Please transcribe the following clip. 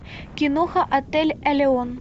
киноха отель элеон